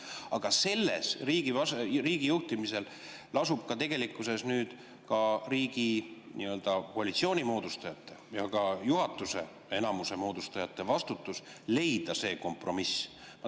Aga riigi juhtimisel on tegelikkuses selles nüüd ka nii-öelda koalitsiooni moodustajate ja ka juhatuse enamuse moodustajate vastutus leida see kompromiss.